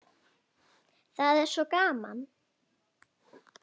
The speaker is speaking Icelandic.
Það er svo gaman.